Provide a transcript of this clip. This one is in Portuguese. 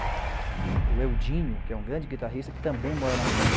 O Eudinho, que é um grande guitarrista, que também mora na Alemanha.